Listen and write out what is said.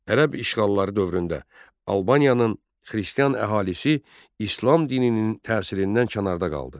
Ərəb işğalları dövründə Albanın xristian əhalisi İslam dininin təsirindən kənarda qaldı.